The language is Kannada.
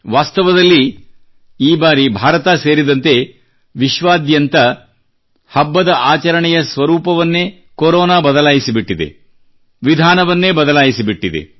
ವಾಸ್ತವದಲ್ಲಿ ಈ ಬಾರಿ ಭಾರತ ಸೇರಿದಂತೆ ವಿಶ್ವಾದ್ಯಂತ ಹಬ್ಬದ ಆಚರಣೆಯ ಸ್ವರೂಪವನ್ನೇ ಕೊರೋನಾ ಬದಲಾಯಿಸಿಬಿಟ್ಟಿದೆ ವಿಧಾನವನ್ನೇ ಬದಲಾಯಿಸಿಬಿಟ್ಟಿದೆ